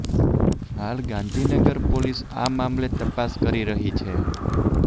હાલ ગાંધીનગર પોલીસ આ મામલે તપાસ કરી રહી છે